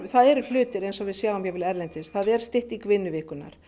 það eru hlutir eins og við sjáum erlendis það er stytting vinnuvikunnar